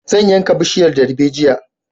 Zan yanka bishiyan darbejiya